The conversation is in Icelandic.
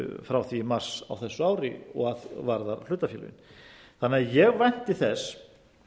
frá því í mars á þessu ári og varðar hlutafélögin ég vænti þess